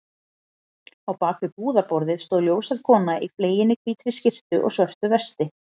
Á bak við búðarborðið stóð ljóshærð kona í fleginni hvítri skyrtu og svörtu vesti.